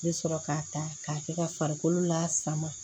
I bɛ sɔrɔ ka ta k'a kɛ ka farikolo lasama